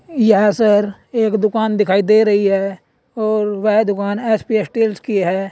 यह एक दुकान दिखाई दे रही है और वह दुकान एस_पी स्टील्स की है।